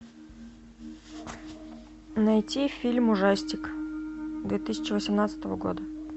найти фильм ужастик две тысячи восемнадцатого года